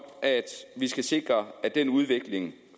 at vi skal sikre at den udvikling